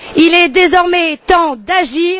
Il est désormais temps d'agir.